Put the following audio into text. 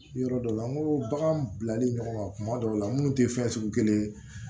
Yɔrɔ dɔw la n ko bagan bilali ɲɔgɔn ma kuma dɔw la munnu tɛ fɛn sugu kelen ye